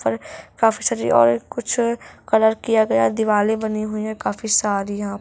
ऊपर काफी सारी और कुछ कलर किया गया है दीवाले बनी हुई है काफी सारी यहाँ--